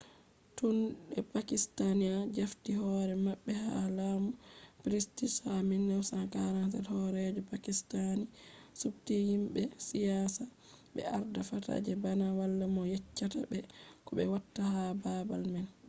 tun de pakistani jafti hore mabbe ha lamu british ha 1947 horeejo pakistani subti himbe siyasa be arda fata je bana wala mo yeccata be ko be watta ha babal man